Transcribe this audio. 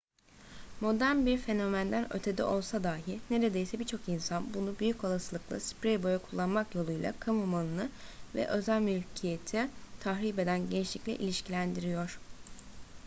modern bir fenomenden ötede olsa dahi neredeyse birçok insan bunu büyük olasılıkla sprey boya kullanmak yoluyla kamu malını ve özel mülkiyeti tahrip eden gençlikle ilişkilendiriyor